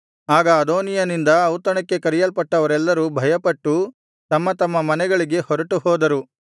ಆಗ ಅದೋನೀಯನಿಂದ ಔತಣಕ್ಕೆ ಕರೆಯಲ್ಪಟ್ಟವರೆಲ್ಲರೂ ಭಯಪಟ್ಟು ತಮ್ಮ ತಮ್ಮ ಮನೆಗಳಿಗೆ ಹೊರಟುಹೋದರು